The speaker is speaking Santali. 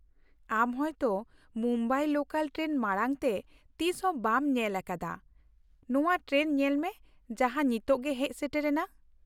ᱟᱢ ᱦᱳᱭᱛᱚ ᱢᱩᱢᱵᱟᱭ ᱞᱳᱠᱟᱞ ᱴᱨᱮᱱ ᱢᱟᱲᱟᱝ ᱛᱮ ᱛᱤᱥᱦᱚᱸ ᱵᱟᱢ ᱧᱮᱞ ᱟᱠᱟᱫᱟ, ᱱᱚᱶᱟ ᱴᱨᱮᱱ ᱧᱮᱞ ᱢᱮ ᱡᱟᱦᱟᱸ ᱱᱤᱛ ᱜᱮ ᱦᱮᱡ ᱥᱮᱴᱮᱨ ᱮᱱᱟ ᱾